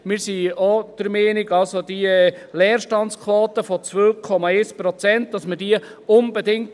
Wir sind der Meinung, dass wir unbedingt versuchen müssen, die Leerstandsquote von 2,1 Prozent zu halten.